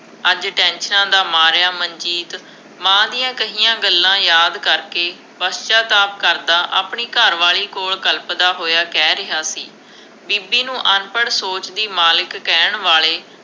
ਅੱਜ ਟੈਨਸ਼ਨਾਂ ਦਾ ਮਾਰਿਆ ਮਨਜੀਤ, ਮਾਂ ਦੀਆਂ ਕਹੀਆਂ ਗੱਲਾਂ ਯਾਦ ਕਰਕੇ, ਪਛਚਾਤਾਪ ਕਰਦਾ, ਆਪਣੀ ਘਰ ਵਾਲੀ ਕੋਲ ਕਲਪਦਾ ਹੋਇਆ ਕਹਿ ਰਿਹਾ ਸੀ, ਬੀਬੀ ਨੂੰ ਅਨਪੜ੍ਹ ਸੋਚ ਦੀ ਮਾਲਿਕ ਕਹਿਣ ਵਾਲੇ,